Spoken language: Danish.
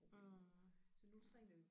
Mh ja